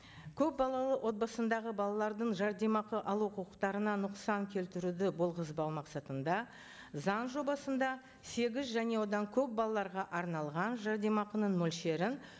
көпбалалы отбасындағы балалардың жәрдемақы алу құқықтарына нұқсан келтіруді болғызбау мақсатында заң жобасында сегіз және одан көп балаларға арналған жәрдемақының мөлшерін